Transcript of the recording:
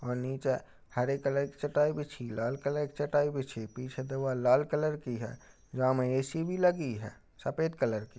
और नीचे हरे कलर की चटाई बिछी लाल कलर की चटाई बिछी पीछे दीवाल लाल कलर की है | या मे ऐ.सी. भी लगी है सफ़ेद कलर की।